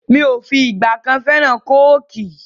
Mi ò fìgbà kan fẹ́ràn Kóòkì